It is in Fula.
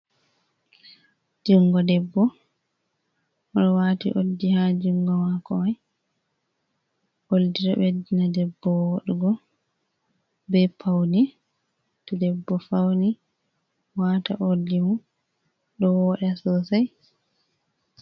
Jungo debbo oɗo wati oldi ha jungo mako mai, oldi ɓeddina debbo woɗugo, be paune, to debbo pauni wata oldi mum ɗo woɗa sosai.